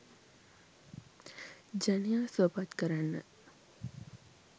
ජනයා සුවපත් කරන්න